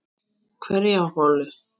Hverja holu.